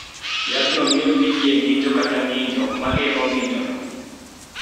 Yathno miyo PDA ng�injo kata ng�injo, ma geng�o ng�injono.